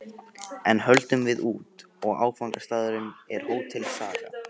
Enn höldum við út, og áfangastaðurinn er Hótel Saga.